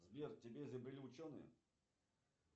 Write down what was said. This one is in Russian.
сбер тебя изобрели ученые